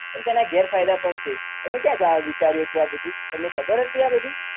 પણ તેના ગેરફાયદા પણ છે તમે ક્યાં જા વિચાર્યું હતું આ બધું તમને ખબર હતી આ બધી